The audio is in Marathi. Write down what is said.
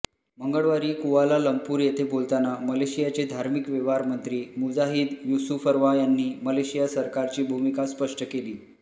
मंगळवारीकुआलालम्पूर येथे बोलताना मलेशियाचे धार्मिक व्यवहार मंत्री मुजाहिद यूसुफरवा यांनी मलेशिया सरकारची भूमिका स्पष्ट केली